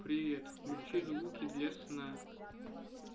привет включи звуки для сна